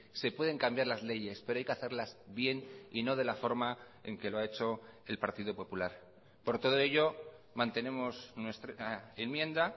se pueden cambiar las leyes pero hay que hacerlas bien y no de la forma en que lo ha hecho el partido popular por todo ello mantenemos nuestra enmienda